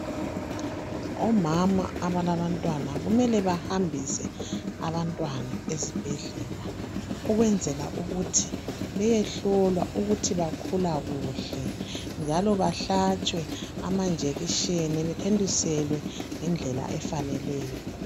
Omama abalabantwana kumele bahambise abantwana ezibhedlela ukwenzela ukuthi beyehlolwa ukuthi bakhula kuhle njalo bahlatshwe amanjekisheni bethontiselwe ngendlela efaneleyo.